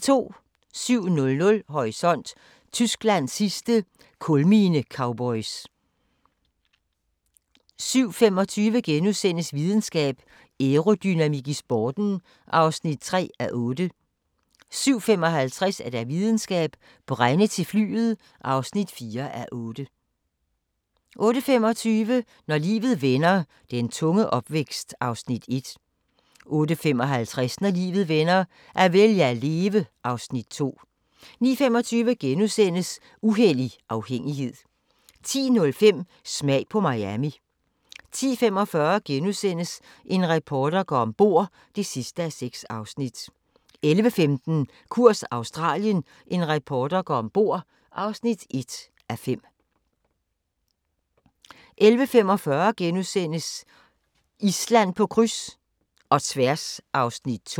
07:00: Horisont: Tysklands sidste kulminecowboys 07:25: Videnskab: Aerodynamik i sporten (3:8)* 07:55: Videnskab: Brænde til flyet (4:8) 08:25: Når livet vender - den tunge opvækst (Afs. 1) 08:55: Når livet vender - at vælge at leve (Afs. 2) 09:25: Uhellig afhængighed * 10:05: Smag på Miami 10:45: En reporter går om bord (6:6)* 11:15: Kurs Australien – en reporter går ombord (1:5) 11:45: Island på kryds - og tværs (2:6)*